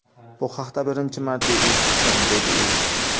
Bu haqda birinchi marta eshitishim”, dedi u.